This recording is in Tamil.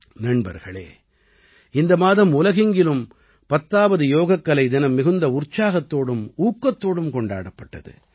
நண்பர்களே இந்த மாதம் உலகெங்கிலும் 10ஆவது யோகக்கலை தினம் மிகுந்த உற்சாகத்தோடும் ஊக்கத்தோடும் கொண்டாடப்பட்டது